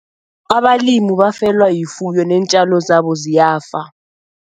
Abalimu bafelwa yifuyo neentjalo zabo ziyafa.